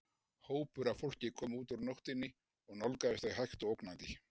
Hópur af fólki kom út úr nóttinni og nálgaðist þau hægt og ógnandi.